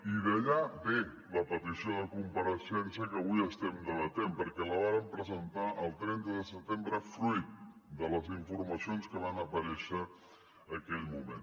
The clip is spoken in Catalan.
i d’allà ve la petició de compareixença que avui estem debatent perquè la vàrem presentar el trenta de setembre fruit de les informacions que van aparèixer en aquell moment